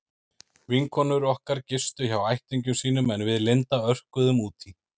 Vinkonur okkar gistu hjá ættingjum sínum en við Linda örkuðum út í